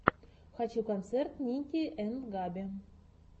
хочу концерт ники энд габи